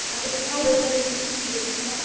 ಹಾಗಾದ್ರೆ ನಿಂಗೆ ಗೊತ್ತಾದ್ರೆ ನಂಗೆ ಹೇಳ್ತಿಯಾ?